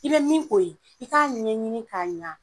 I be min k'o ye i k'a ɲɛɲini k'a ɲa.